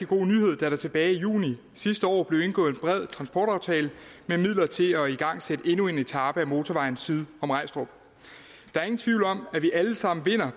god nyhed da der tilbage i juni sidste år blev indgået en bred transportaftale med midler til at igangsætte endnu en etape af motorvejen syd om regstrup der er ingen tvivl om at vi alle sammen vinder